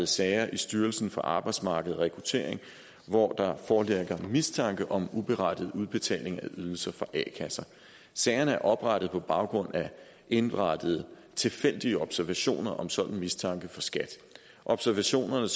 sager i styrelsen for arbejdsmarked og rekruttering hvor der foreligger mistanke om uberettiget udbetaling af ydelser fra a kasser sagerne er oprettet på baggrund af indberettede tilfældige observationer om sådan en mistanke fra skat observationerne